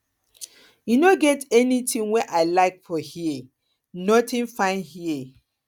e no get anything wey i like for here nothing fine here